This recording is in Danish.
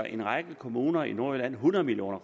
en række kommuner i nordjylland hundrede million